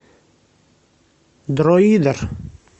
дроидер